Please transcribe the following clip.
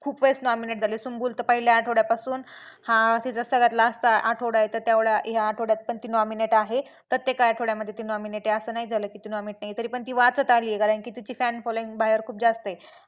खूपच वेडेस nominate झाले. सुम्बूल तर पहिल्या आठवड्यापासून हा तिचा सगळ्यात last चा आठवडा आहे तर तेवढ्या या आठवड्यात पण ती nominate आहे. प्रत्येक आठवड्यामध्ये ती nominate आहे असं नाही झालं की ती nominate नाही आहे तरी पण ती वाचत आली आहे कारण की तिची fan following बाहेर खूप जास्त आहे.